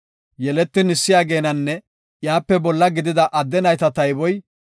Yeletin issi ageenanne iyape bolla gidida adde nayta tayboy 6,200.